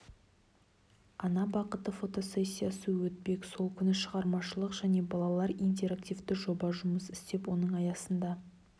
ана бақыты фотосессиясы өтпек сол күні шығармашылық және балалар интерактивті жоба жұмыс істеп оның аясында